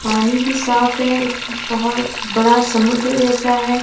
पानी भी साफ है इस बहोत बड़ा समुद्र जैसा है।